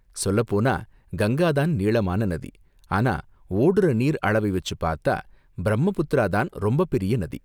சொல்லப் போனா கங்கா தான் நீளமான நதி, ஆனா ஓடுற நீர் அளவை வச்சு பார்த்தா பிரம்மபுத்திரா தான் ரொம்ப பெரிய நதி.